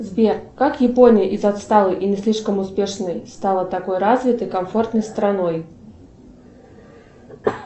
сбер как япония из отсталой и не слишком успешной стала такой развитой комфортной страной